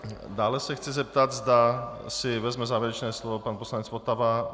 Dále se chci zeptat, zda si vezme závěrečné slovo pan poslanec Votava.